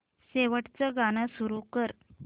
शेवटचं गाणं सुरू कर